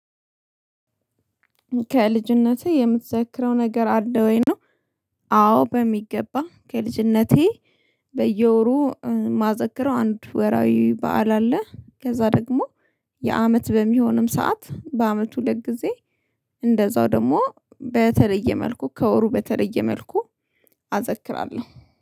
ከልጅነቴ የምትዘክረው ነገር አለ ወይ ነው? አዎ በሚገባ ከልጅነቴ በየወሩ ማዘክረው አንድ ወራዊ በዓል አለ ከዛ ደግሞ የአመት በሚሆንም ሰዓት በአመት ሁለት ጊዜ እንደዛው ደግሞ በተለየ መልኩ ከወሩ በተለየ መልኩ አዘክራለሁ።